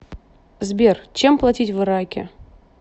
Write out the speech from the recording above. сбер чем платить в ираке